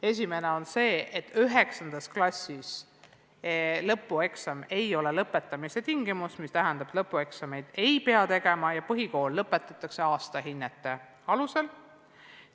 Esimene on see, et 9. klassis ei ole lõpueksami sooritamine lõpetamise tingimus – see tähendab, et lõpueksameid ei pea tegema ja põhikool lõpetatakse aastahinnete alusel.